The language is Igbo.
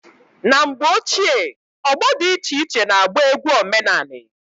Na mgbe ochie ọgbọ dị iche iche na agba egwu omenani.